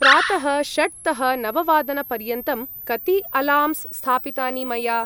प्रातः षड्तः नववादनपर्यन्तं कति अलार्म्स् स्थापितानि मया?